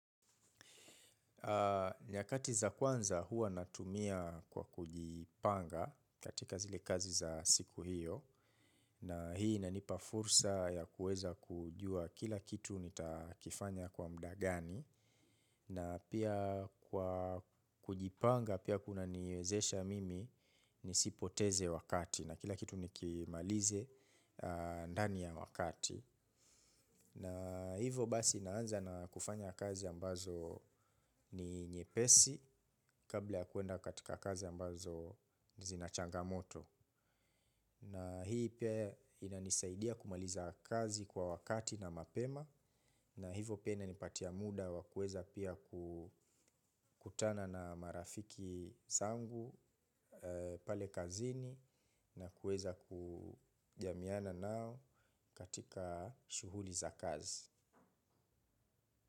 Nyakati za kwanza huwa natumia kwa kujipanga katika zile kazi za siku hiyo na hii inanipa fursa ya kuweza kujua kila kitu nitakifanya kwa muda gani na pia kwa kujipanga pia kunaniwezesha mimi nisipoteze wakati na kila kitu nikimalize ndani ya wakati. Na hivo basi naanza na kufanya kazi ambazo ni nyepesi kabla ya kwenda kwa kazi ambazo zina changamoto. Na hii pia inanisaidia kumaliza kazi kwa wakati na mapema na hivo pia inanipatia muda wa kuweza pia kukutana na marafiki zangu pale kazini na kueza kujamiana nao katika shuhuli za kazi.